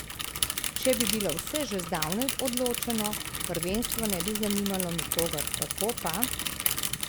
Če bi bilo vse že zdavnaj odločeno, prvenstvo ne bi zanimalo nikogar, tako pa ...